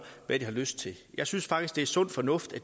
hvad de har lyst til jeg synes faktisk det er sund fornuft